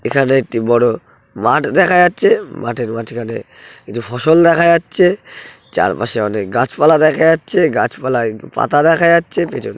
এখানে একটি বড়ো মাঠ দেখা যাচ্ছে মাঠের মাঝখানে কিছু ফসল দেখা যাচ্ছে চারপাশে অনেক গাছপালা দেখা যাচ্ছে গাছপালায় একটু পাতা দেখা যাচ্ছে পিছন--